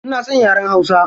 Ina son yaren hausa.